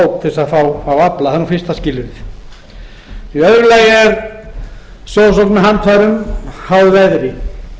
til að fá afla það er fyrsta skilyrðið í öðru lagi er sjósókn með handfærum háð verði